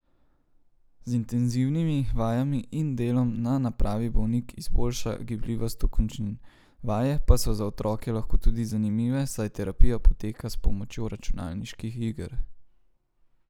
Z intenzivnimi vajami in delom na napravi bolnik izboljša gibljivost okončin, vaje pa so za otroke lahko tudi zanimive, saj terapija poteka s pomočjo računalniških iger.